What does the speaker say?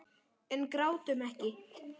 En grátum ekki.